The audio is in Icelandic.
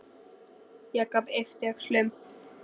Jakob yppti öxlum.